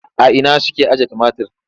A ina suke ajiye tumatir?